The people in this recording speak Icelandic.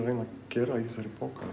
reyna að gera í þessari bók